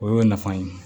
O y'o nafa ye